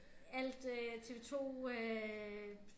Alt øh TV-2 øh